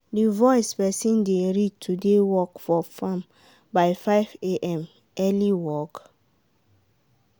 the voice person dey read today work for farm by 5am early work!